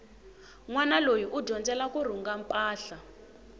nwana loyi u dyondzela kurhunga mpahla